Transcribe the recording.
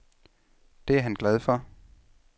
Det er han glad for.